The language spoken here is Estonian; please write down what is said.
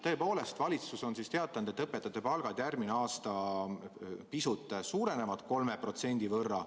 Tõepoolest, valitsus on teatanud, et õpetajate palk järgmisel aasta pisut suureneb, 3% võrra.